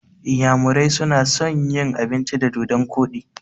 Inyamurai na son yin abinci da dodon koɗi